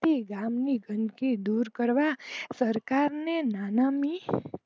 કે ગામ ની ગંદકી દૂર કરવા સરકાર ની નનામી